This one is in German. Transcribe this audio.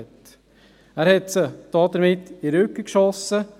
Damit schoss er ihnen in den Rücken.